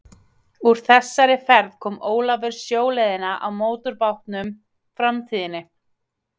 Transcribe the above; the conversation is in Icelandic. Úr þessari ferð kom Ólafur sjóleiðina á mótorbátnum Framtíðinni.